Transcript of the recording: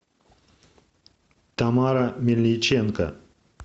тамара мельниченко